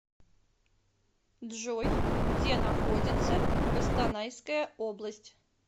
джой где находится костанайская область